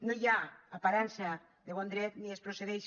no hi ha aparença de bon dret ni es procedeix